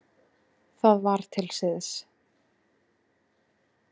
Það var til siðs.